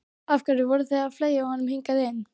Af hverju voru þeir að fleygja honum hingað inn.